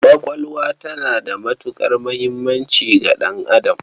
Ƙwaƙwalwa tana da matuƙar muhimmanci ga ɗan'adam.